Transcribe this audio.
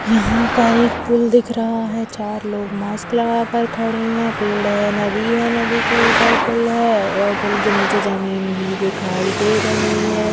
यहाँ पर एक पूल दिख रहा है चार लोग मास्क कर खड़े है पेड़ है नदी है नदी के ऊपर पूल है और पूल के नीचे जमीन भी दिखाई दे रही हैं।